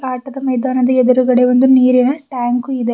ಆಟದ ಮೈದಾನದ ಎದುರುಗಡೆ ಒಂದು ನೀರಿನ ಟ್ಯಾಂಕು ಇದೆ.